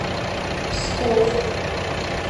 псков